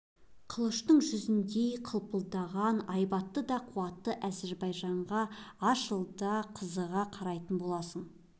қылыштың жүзіндей қылпылдаған айбатты да қуатты әзербайжанға аз жылда қызыға қарайтын боласың